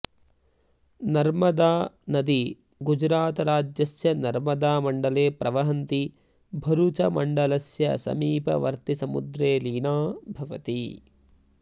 नर्मदानदी गुजरातराज्यस्य नर्मदामण्डले प्रवहन्ती भरुचमण्डलस्य समीपवर्तिसमुद्रे लीना भवति